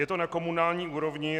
Je to na komunální úrovni.